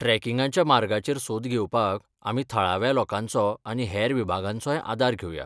ट्रॅकिंगाच्या मार्गाचेर सोद घेवपाक आमी थळाव्या लोकांचो आनी हेर विभागांचोय आदार घेवया.